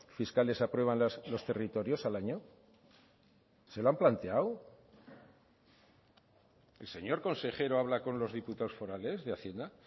fiscales aprueban los territorios al año se lo han planteado el señor consejero habla con los diputados forales de hacienda